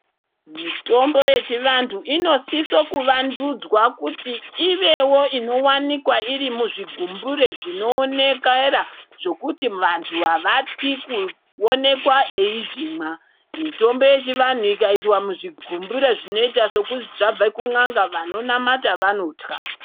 Mitombo yechivantu inosiso kuvandudzwa kuti ivewo inowanikwa iri muzvigumbure zvinoonekera zvekuti vantu havatyi kuoneka eizvimwa. Mitombo yechivantu ikaiswa muzvigumbure zvinoita sekuti zvabve kun'anga vanonamata vanotya.